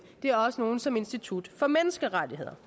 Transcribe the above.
det er også nogle som institut for menneskerettigheder